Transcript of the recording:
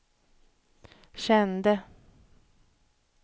kände